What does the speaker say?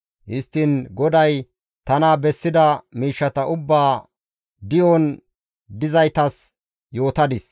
Histtiin GODAY tana bessida miishshata ubbaa di7eteththan dizaytas yootadis.